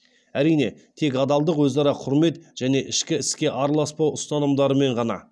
әрине тек адалдық өзара құрмет және ішкі іске араласпау ұстанымдарымен ғана